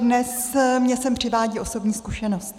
Dnes mě sem přivádí osobní zkušenost.